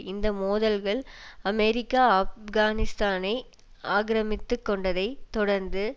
இந்த மோதல்கள் அமெரிக்கா ஆப்கானிஸ்தானை ஆக்கிரமித்து கொண்டதைத் தொடர்ந்து